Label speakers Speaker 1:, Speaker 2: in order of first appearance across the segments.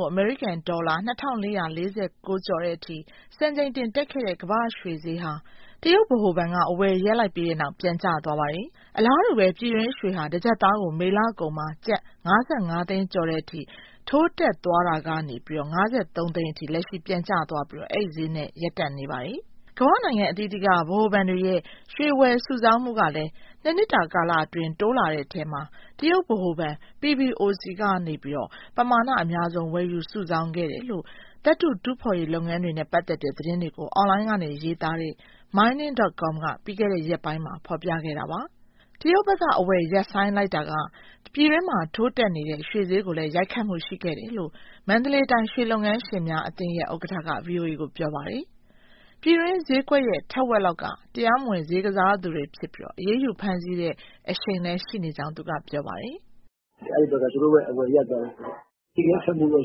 Speaker 1: ကို အမေရိကန်ဒေါ်လာ ၂,၄၄၉ ကျော်တဲ့အထိ စံချိန်တင်တက်ခဲ့တဲ့ ကမ္ဘာရွှေစျေးဟာ တရုတ်ဗဟိုဘဏ်က အဝယ်ရပ်လိုက်ပြီးတဲ့နောက် ပြန်ကျသွားပါတယ်။ အလားတူပဲ ပြည်တွင်းရွှေဟာ တကျပ်သားကို မေလကုန်မှာ ကျပ်၅၅သိန်းကျော်တဲ့အထိ ထိုးတက်သွားတာကနေ ၅၃ သိန်းထိ လက်ရှိ ပြန်ကျသွားပြီး အဲဒီစျေးနှုန်းနဲ့ ရပ်တန့်နေပါတယ်။ ကမ္ဘာနိုင်ငံအသီးသီးက ဗဟိုဘဏ်တွေရဲ့ ရွှေဝယ်စုဆောင်းမှုကလည်း ၂နှစ်တာကာလအတွင်း တိုးလာတဲ့ အထဲမှာ တရုတ်ဗဟိုဘဏ် PBOC ဘဏ်က ပမာဏအများဆုံး ဝယ်ယူစုဆောင်းခဲ့တယ်လို့ သတ္တု တူးဖေါ်ရေးလုပ်ငန်းတွေနဲ့ ပတ်သက်တဲ့ သတင်းတွေကို အွန်လိုင်းကနေရေးသားနေတဲ့ Mining.com က ပြီးခဲ့တဲ့ရက်ပိုင်းမှာ ဖော်ပြခဲ့တာပါ။ တရုတ်ဘက်က အဝယ်ရပ်ဆိုင်းတာက ပြည်တွင်းမှာ ထိုးတက်နေတဲ့ ရွှေစျေးကိုလည်း ရိုက်ခတ်မှုရှိခဲ့တယ်လို့ မန္တလေးတိုင်း ရွှေလုပ်ငန်းရှင်များအသင်းရဲ့ ဥက္ကဋ္ဌက ဗွီအိုအေကို ပြောပါတယ်။ ပြည်တွင်း စျေးကွက်ရဲ့ ထက်ဝက်လောက်က တရားမဝင်စျေးကစားသူတွေဖြစ်ပြီး အရေးယူ ဖမ်းဆီးခဲ့တဲ့ အရှိန်လည်း ရှိနေကြောင်း သူကပြောပါတယ်
Speaker 2: ။ " အဲဒီဘက်က သူတို့ရဲ့အဝယ်ရပ်သွားတာ အဲဒီရိုက်ခတ်မှုတော့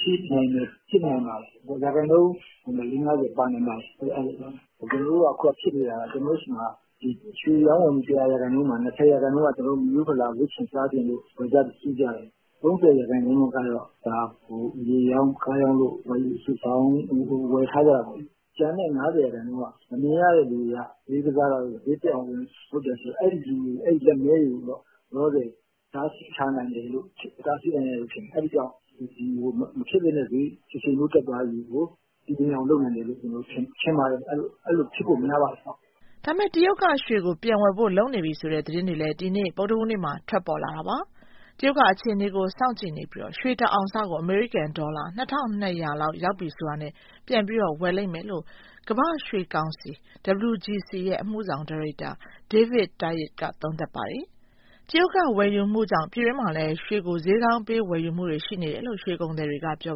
Speaker 2: ရှိနိုင်တယ်၊ ဖြစ်နိုင်ပါတယ်။ ရာခိုင်နှုန်းနဲ့ ၄/၅၀ ပါနိုင်ပါတယ်။ ကျနော်တို့က ဖြစ်နေတာက ကျနော်တို့ဆီမှာ ရွှေရောင်းဝယ်မှု ၁၀၀ရာခိုင်နှုန်းမှာ ၂၀ရာခိုင်နှုန်းက မိရိုးဖလာ ဝတ်ချင်စားချင်လို့ ဝယ်ကြ၊ စုကြတယ်။ ၃၀ ရာခိုင်နှုန်းလောက်ကတော့ မြေရောင်း၊ ကားရောင်းလို့ ဝယ်ယူစုဆောင်း၊ ဝယ်ထားကြတယ်ပေါ့လေ။ ကျန်တဲ့ ၅၀ရာခိုင်နှုန်းလောက်က မမြင်ရတဲ့သူတွေက စျေးကစားတာတို့၊ စျေးတက်အောင်လုပ်တာရှိတယ်။ အဲလူတွေ၊ လက်မည်းတွေတော့ လောလောဆယ် တားဆီးထားနိုင်တယ်လို့ ထင်တယ်။ အဲဒီကြောင့် မဖြစ်သင့်တဲ့စျေး တရှိန်ထိုး တက်သွားတာကို တည်ငြိမ်အောင် လုပ်နိုင်တယ်လို့ ထင်ပါတယ်။ အဲလိုဖြစ်ဖို့ များပါတယ်။
Speaker 1: " ဒါပေမဲ့ တရုတ်က ရွှေကို ပြန်ဝယ်ဖို့ လုပ်နေပြီဆိုတဲ့ သတင်းတွေလည်း ဒီနေ့ ဗုဒ္ဓဟူးနေ့မှာ ထွက်ပေါ်လာပါတယ်။ " တရုတ်က အခြေအနေကို စောင့်ကြည့်နေပြီး ရွှေတအောင်စကို အမေရိကန်ဒေါ်လာ ၂,၂၀၀ လောက်ရောက်ပြီဆိုတာနဲ့ ပြန်ပြီးဝယ်လိမ့်မယ်" လို့ ကမ္ဘာ့ရွှေကောင်စီ ရဲ့ အမှုဆောင်ဒါရိုက်တာ David Tait ကသုံးသပ်ထားပါတယ်။ တရုတ်ဝယ်ယူမှုကြောင့် ပြည်တွင်းမှာလည်း ရွှေကို စျေးကောင်းပေး ဝယ်ယူမှုတွေ ရှိနေတယ်လို့ ရွှေကုန်သည်တွေက ပြော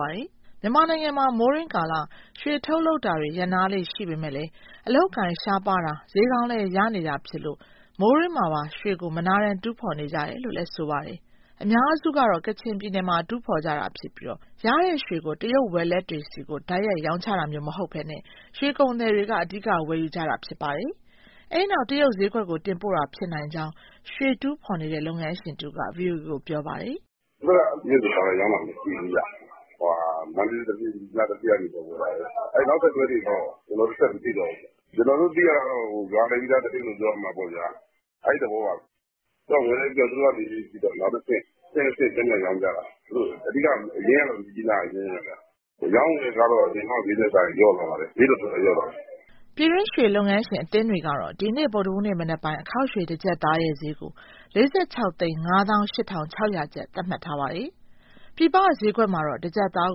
Speaker 1: ပါတယ်။ မြန်မာနိုင်ငံမှာ မိုးတွင်းကာလ ရွှေထုတ်လုပ်တာတွေ ရပ်နားလေ့ရှိပေမဲ့ အလုပ်အကိုင် ရှားပါးတာ၊ စျေးကောင်းလည်း ရနေတာဖြစ်လို့ မိုးတွင်းမှာပါ ရွှေကို မနားတမ်း တူးဖော်နေကြတယ်လို့လည်း ဆိုပါတယ်။ အများစုကတော့ ကချင်ပြည်နယ်မှာ တူးဖော်ကြတာဖြစ်ပြီး ရတဲ့ရွှေကို တရုတ်ဝယ်လက်တွေဆီ တိုက်ရိုက် ရောင်းချတာမျိုးမဟုတ်ဘဲ ရွှေကုန်သည်တွေက အဓိက ဝယ်ယူကြတာဖြစ်ပါတယ်။ အဲဒီနောက် တရုတ်စျေးကွက်ကို တင်ပို့တာ ဖြစ်နိုင်ကြောင်း ရွှေတူးဖော်နေတဲ့ လုပ်ငန်းရှင်တဦးက ဗွီအိုအေကို ပြောပါတယ်။
Speaker 3: " ဒီဘက်က တရုတ်ကို တိုက်ရိုက်ရောင်းတာ မရှိဘူးဗျ၊ မန္တလေး၊ မြစ်ကြီးနားသူဌေးက ဝယ်တာပဲ။ အဲဒီ နောက်ဆက်တွဲတွေတော့ ကျနောတို့ ဆက်ပြီးမသိတော့ဘူး။ ကျနော်တို့ သိရတာကတော့ ရွာလည်ပြီးသား သတင်းလို့ ပြောရမှာပေါ့ဗျာ အဲသဘောပါပဲ ။ ဝယ်လည်းပြီးရော သူတို့ကနေ နောက်တဆင့် အဆင့်ဆင့် ပြန်ပြန်ရောင်းကြတာ။ အရင်းကတော့ မြစ်ကြီးနားက အရင်းပဲ။ အရောင်းအဝယ်ကတော့ အရင်တုန်းက စျေးထက်စာရင် လျော့သွားပါတယ်၊ စျေးတော်တော်လျော့သွားတယ်
Speaker 1: ။" ပြည်တွင်းရွှေလုပ်ငန်းရှင် အသင်းတွေကတော့ ဒီနေ့ ဗုဒ္ဓဟူးနေ့ မနက်ပိုင်း အခေါက်ရွှေ တကျပ်သားရဲ့စျေးကို ၄,၆၅၈,၆၀၀ ကျပ်သတ်မှတ်ထားပါတယ်။ ပြင်ပစျေးကွက်မှာတော့ တကျပ်သား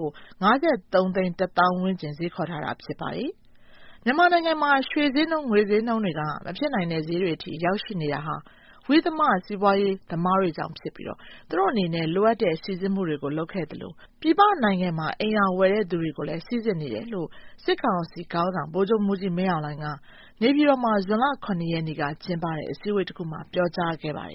Speaker 1: ကို ၅,၃၁၀,၀၀၀ ဝန်းကျင်စျေးခေါ်ထားတာ ဖြစ်ပါတယ်။ မြန်မာနိုင်ငံမှာ ရွှေစျေးနှုန်း၊ ငွေစျေးနှုန်းတွေက မဖြစ်နိုင်တဲ့စျေးတွေအထိ ရောက်ရှိနေတာဟာ ဝိသမစီးပွားရေး သမားတွေကြောင့်ဖြစ်ပြီး၊ သူတို့အနေနဲ့ လိုအပ်တဲ့စိစစ်မှုတွေကို လုပ်ခဲ့သလို၊ ပြည်ပနိုင်ငံမှာ အိမ်ရာဝယ်ယူတဲ့ သူတွေကိုလည်း စိစစ်နေတယ်လို့ စစ် ကောင်စီခေါင်းဆောင် ဗိုလ်ချုပ်မှူးကြီးမင်းအောင်လှိူင်က နေပြည်တော်မှာ ဇွန်လ ရက်နေ့က လုပ်တဲ့ အစည်းအဝေးတခုမှာ ပြောကြားခဲ့ပါတယ်